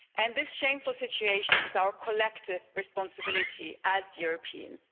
This shameful situation is our collective responsibility as Europeans.